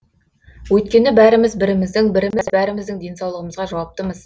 өйткені бәріміз біріміздің біріміз бәріміздің денсаулығымызға жауаптымыз